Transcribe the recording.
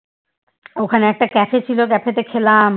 ওখানে একটা Cafe ছিল Cafe তে খেলাম